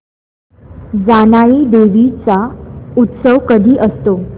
जानाई देवी चा उत्सव कधी असतो